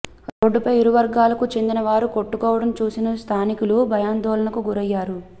రోడ్డుపై ఇరు వర్గాలకు చెందిన వారు కొట్టుకోవడం చూసి స్థానికులు భయాందోళనకు గురయ్యారు